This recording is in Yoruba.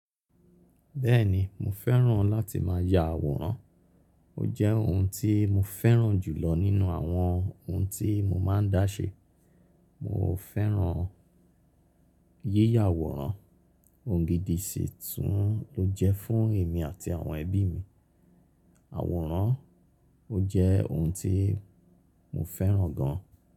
Bẹ́ẹ̀ni mo fẹ́ràn láti má ya àwòrán, ó jẹ́ ohun tí mo fẹ́ràn jùlọ nínú àwọn ohun tí mo má a ń dá ṣe. Mo fẹ́ràn yíyà àwòrán, ohun gidi sì tún ló jẹ́ fún èmi àti àwọn ẹbí mi. Àwòrán ó jẹ́ ohun tí mo fẹ́ràn gan.